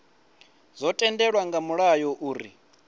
zwo tendelwa nga mulayo uri